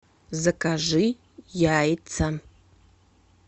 закажи яйца